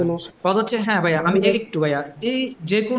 যেকোনো